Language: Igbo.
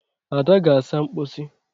Ada gaa saa mposi.